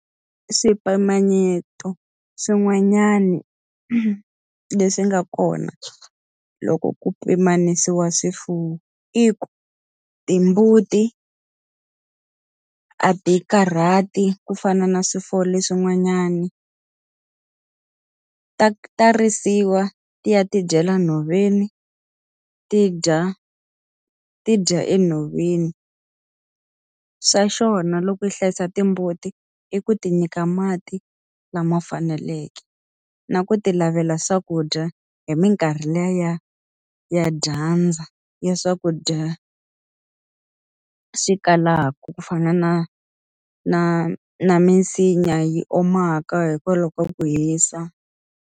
Swipimanyeto swin'wanyani leswi nga kona loko ku pimanisiwa swifuwo i ku, timbuti a ti karhati i ku fana na swifuwo leswin'wanyani. Ta ta risiwa, ti ya ti dyela nhoveni, ti dya, ti dya enhoveni. Xa xona loko i hlayisa timbuti, i ku ti nyika mati lama faneleke, na ku ti lavela swakudya hi minkarhi liya ya ya dyandza, ya swakudya swi kalaka. ku fana na na na misinya yi omaka hikwalaho ka ku hisa.